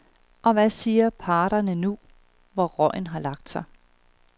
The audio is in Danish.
Og hvad siger parterne nu, hvor røgen har lagt sig?